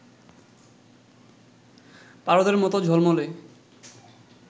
পারদের মত ঝলমলে